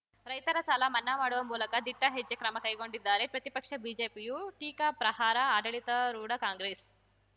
ರೈತರ ಸಾಲ ಮನ್ನಾ ಮಾಡುವ ಮೂಲಕ ದಿಟ್ಟಹೆಜ್ಜೆ ಕ್ರಮ ಕೈಗೊಂಡಿದ್ದಾರೆ ಪ್ರತಿಪಕ್ಷ ಬಿಜೆಪಿಯು ಟೀಕಾಪ್ರಹಾರ ಆಡಳಿತಾರೂಢ ಕಾಂಗ್ರೆಸ್‌